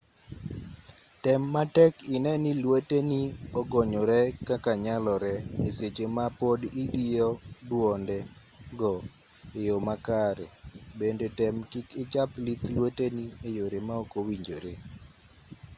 tem matek inee ni lweteni ogonyore kaka nyalore e seche ma pod idiyo dwonde go e yo ma kare bende tem kik ichap lith lweteni e yore ma ok owinjore